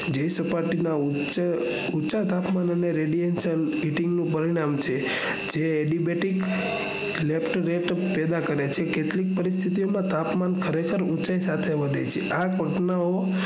જે સપાટી ના ઉંચા તાપમાન અને radiation નું પરિણામ છે જે debating પેદા કરે છે કેટલી પરિસ્થિતિ માં તાપમાન ખરેખર ઉંચાઈ સાથે વધે છે આ